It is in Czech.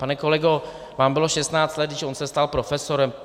Pane kolego, vám bylo 16 let, když on se stal profesorem.